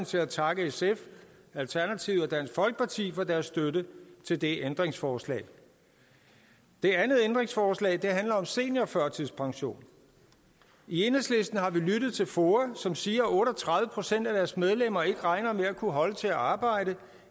til at takke sf alternativet og dansk folkeparti for deres støtte til det ændringsforslag det andet ændringsforslag handler om en seniorførtidspension i enhedslisten har vi lyttet til foa som siger at otte og tredive procent af deres medlemmer ikke regner med at kunne holde til at arbejde